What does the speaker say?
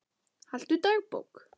Haltu dagbók.